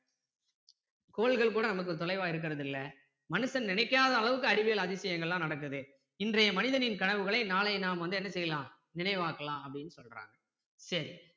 கோள்கள் கூட நமக்கு தொலைவா இருக்கிறது இல்ல மனுசன் நினைக்காத அளவுக்கு அறிவியல் அதிசயங்களெல்லாம் நடக்குது இன்றைய மனிதனின் கனவுகளை நாளை நாம் வந்து என்ன செய்யலாம் நினைவாக்கலாம் அப்படின்னு சொல்றாங்க சரி